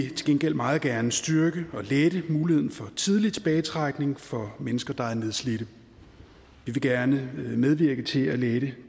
til gengæld meget gerne styrke og lette muligheden for tidlig tilbagetrækning for mennesker der er nedslidte vi vil gerne medvirke til at lette